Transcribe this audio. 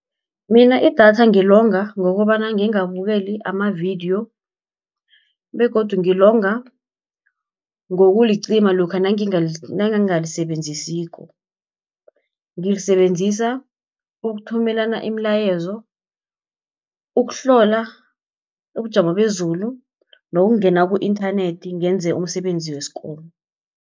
Mina idatha ngilonga ngokobana ngingabukeli amavidiyo, begodu ngilonga ngokulicima lokha nangingalisebenzisiko. Ngilisebenzisa ukuthumelana imilayezo, ukuhlola ubujamo bezulu, nokungena ku-inthanethi ngenze umsebenzi wesikolo.